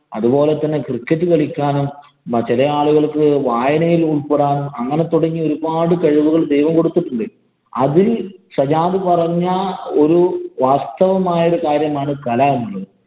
അതുപോലെ തന്നെ cricket കളിക്കാനും ചെല ആളുകള്‍ക്ക് വായനയില്‍ ഉള്‍പ്പെടാനും, അങ്ങനെ തുടങ്ങി ഒരു പാട് കഴിവുകള്‍ ദൈവം കൊടുത്തിട്ടുണ്ട്. അത് സജാദ് പറഞ്ഞ ഒരു വാസ്തവമായ ഒരു കാര്യമാണ് കല എന്നുള്ളത്.